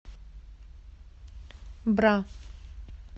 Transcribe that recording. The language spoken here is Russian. бра